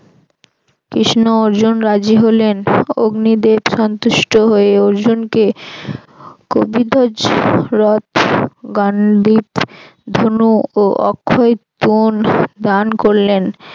কৃষ্ণ অর্জুন রাজি হলেন। অগ্নিদেব সন্তুষ্ট হয়ে অর্জুনকে কপিধ্বজ রথ গান্ধিব ধনুক ও অক্ষয় পুঞ্জ দান করলেন।